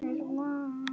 Ekki Skúla!